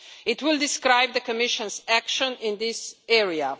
It will describe the Commission's action in this area.